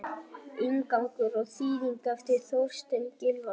Inngangur og þýðing eftir Þorstein Gylfason.